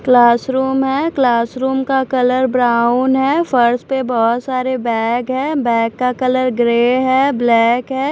Classroom है classroom का colour brown है फर्श पे बहोत सारे बैग हैं बैग का कलर ग्रे है ब्लॅक है।